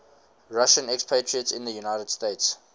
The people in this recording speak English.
russian expatriates in the united states